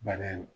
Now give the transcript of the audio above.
Bana in